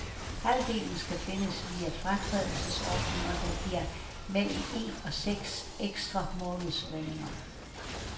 Halvdelen skal findes via fratrædelsesordninger, der giver mellem en og seks ekstra månedslønninger.